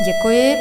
Děkuji.